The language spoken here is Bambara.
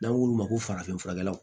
N'an k'olu ma ko farafin furakɛlaw